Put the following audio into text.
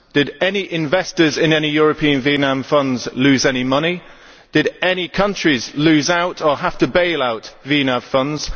Did any investors in any European VNAV funds lose any money? Did any countries lose out or have to bail out VNAV funds?